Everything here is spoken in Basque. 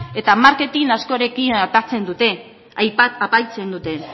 eta marketin askorekin apaintzen dute